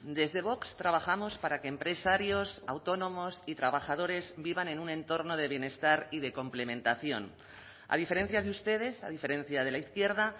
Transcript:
desde vox trabajamos para que empresarios autónomos y trabajadores vivan en un entorno de bienestar y de complementación a diferencia de ustedes a diferencia de la izquierda